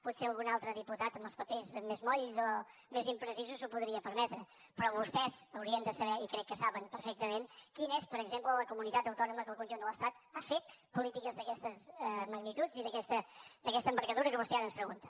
potser algun altre diputat amb els papers més molls o més imprecisos s’ho podria permetre però vostès haurien de saber i crec que ho saben perfectament quina és per exemple la comunitat autònoma que en el conjunt de l’estat ha fet polítiques d’aquestes magnituds i d’aquesta envergadura que vostè ara ens pregunta